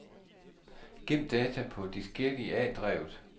Gem data på diskette i A-drevet.